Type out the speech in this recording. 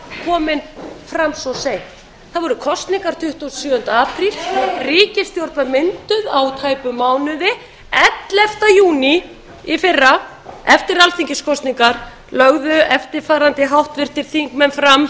komin fram svo seint það voru kosningar tuttugasta og sjöunda apríl ríkisstjórn var mynduð á tæpum mánuði ellefta júní í fyrra eftir alþingiskosningar lögðu eftirfarandi háttvirtir þingmenn fram